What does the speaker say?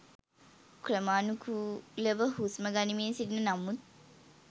ක්‍රමානුකූලව හුස්ම ගනිමින් සිටින නමුත්